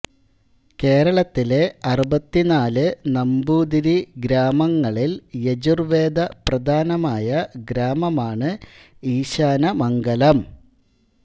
കേരളത്തിലെ അറുപത്തിനാലു നമ്പൂതിരി ഗ്രാമങ്ങളിൽ യജുർവേദ പ്രധാനമായ ഗ്രാമമാണ് ഈശാനമംഗലം